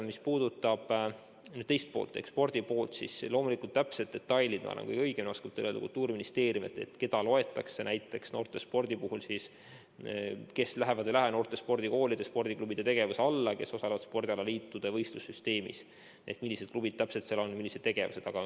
Mis puudutab küsimuse teist poolt ehk spordi poolt, siis loomulikult Kultuuriministeerium oskab kõige õigemini teile öelda täpsed detailid, kes lähevad ja kes ei lähe noorte spordikoolide ja spordiklubide tegevuse alla ning kes osalevad spordialaliitude võistlussüsteemis, millised klubid täpselt seal on, millised tegevused.